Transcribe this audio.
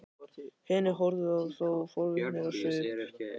Hinir horfðu á þá forvitnir á svip.